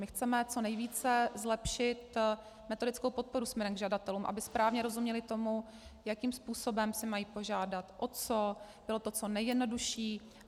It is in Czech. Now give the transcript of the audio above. My chceme co nejvíce zlepšit metodickou podporu směrem k žadatelům, aby správně rozuměli tomu, jakým způsobem si mají požádat, o co, bylo to co nejjednodušší.